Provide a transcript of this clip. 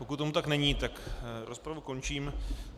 Pokud tomu tak není, tak rozpravu končím.